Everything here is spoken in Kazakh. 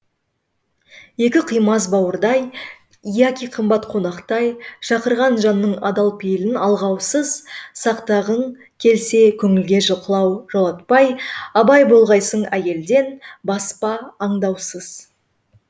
екі қимас бауырдай яки қымбат қонақтай шақырған жанның адал пейілін алғаусыз сақтағың келсе көңілге жолатпай абай болғайсың әйелден баспа аңдаусыз